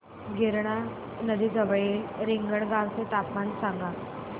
गिरणा नदी जवळील रिंगणगावाचे तापमान सांगा